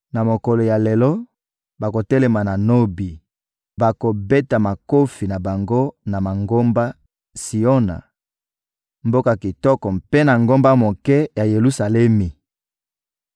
Na mokolo ya lelo, bakotelema na Nobi, bakobeta makofi na bango na ngomba Siona, mboka kitoko, mpe na ngomba moke ya Yelusalemi.